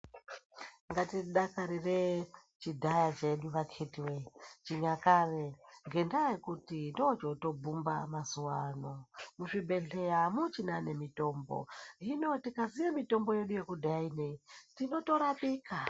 Ngatidakarire chidhaya chedu vakhitiwee, chinyakare, ngendaa yekuti ndozvotobhumba mazuwa ano. Muzvibhedhleya amuchina nemitombo, hino tikaziye mitombo yedu yekudhaya ineyi, tinotorapika.